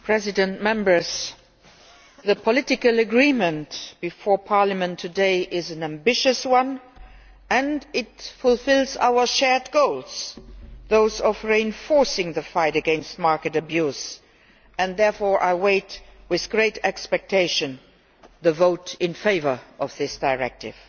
Mr President, the political agreement before Parliament today is an ambitious one and it fulfils our shared goals those of reinforcing the fight against market abuse and therefore I wait with great expectation for the vote in favour of this directive.